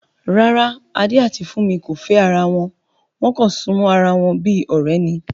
Rárá, Adé àti Fúnmi kò fẹ́ ara wọn, wọ́n kàn súnmọ́ ara wọn bí ọ̀rẹ́ ni